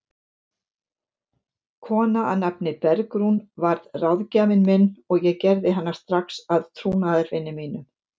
Kona að nafni Bergrún varð ráðgjafinn minn og ég gerði hana strax að trúnaðarvini mínum.